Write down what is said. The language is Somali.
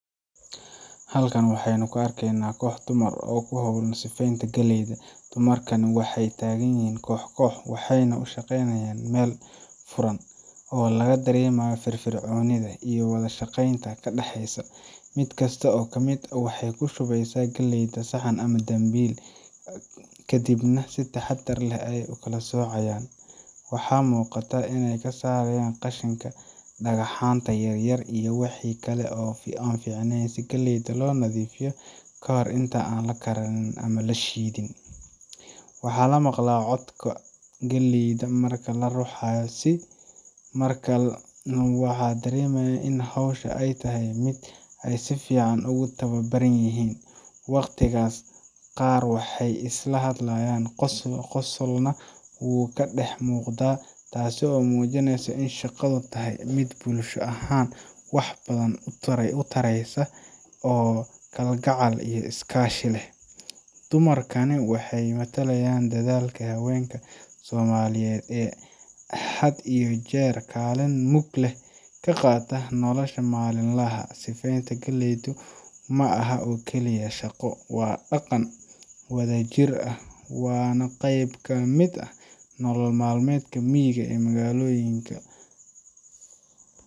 Halkaan waxeyna kuu arkeyna koox dumaar oo kuu howlaan sifeyntaa galeydaa. dumaarkan waxey tagaan yiihin kox kox waxeyna uu shaqeynayaan meel fuuran oo lagaa daremaayo firfirconidaa iyo wadashaqeyntaa kaa dheexeyso. miid kaasto kaa miid aah waxey kuu shuweeysa galeydaa saxaan ama dambiil. kadiib na sii taxadaar leeh ayeey uu kalaa socayaan. waxaa muqaata iney kaa sarayaan qashiinka, dhakaxaanta yaar yaar iyo wixii kalee ee aan ficneeyn sii kaleydaa loo nadifiiyo kahoor iinta aan laa kariniin ama laa shidiin. waxa laa maqlaa codka galeyda markaa laa ruuxayo sii waxan daremaaya iin howshaa ey tahay miid eey sii fcn ogu tawabaraan yihiin. waqtikaas qaar waxey isla hadlaayan qosolnaa wukaa dex muqdaa taaso eey muujineyso iin shaqaduu tahaay miid bulshaa ahaan wax uu badaan tareeyso oo kalgacal iyo iskaashi leeh. dumarkaana waxey matalaayan dadaalka hawenkaa somaliyeed ee haad iyo jeer kaliin muug leeh kaa qaata noloshaa maalin lahaa. siifeynta galeydaa maa aaha oo kaliiya shaaqo waa dhaaqan wadaa jiir aah waana qeyb kamiid aah nolol maal meedka miyigaa ee magalooyiinka.